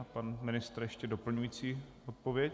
A pan ministr ještě doplňující odpověď?